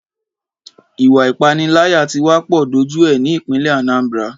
Ìwà ìpániláyà tí wá pọ̀ dójú ẹ ní ìpínlè Anambra.